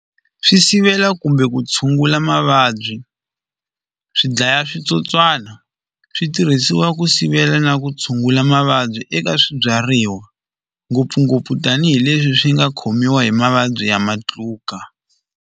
Swi sivela kumbe ku tshungula mavabyi swi dlaya switsotswana swi tirhisiwa ku sivela na ku tshungula mavabyi eka swibyariwa ngopfungopfu tanihileswi swi nga khomiwa hi mavabyi ya matluka.